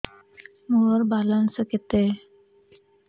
ମୋର ବାଲାନ୍ସ କେତେ